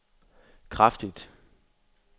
kraftigt